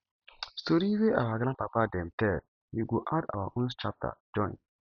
story wey our grandpapa dem tell we go add our own chapter join